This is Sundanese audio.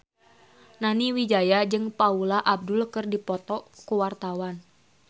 Nani Wijaya jeung Paula Abdul keur dipoto ku wartawan